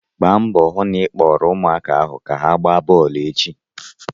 Gbaa mbọ hụ na ị kpọọrọ ụmụaka ahụ ka ha ga-gbaa bọọlụ echi!